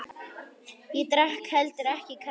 Ég drakk heldur ekki kaffi.